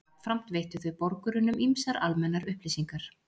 Jafnframt veittu þau borgurunum ýmsar almennar upplýsingar.